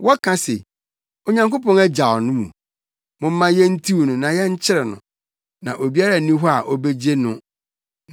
Wɔka se, “Onyankopɔn agyaw no mu; momma yentiw no na yɛnkyere no, na obiara nni hɔ a obegye no.”